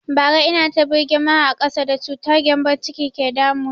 Bara ina ta birgima a ƙasa da cutar gembon ciki ke ta damu na